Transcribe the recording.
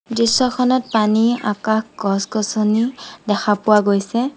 দৃশ্যখনত পানী আকাশ গছ গছনি দেখা পোৱা গৈছে।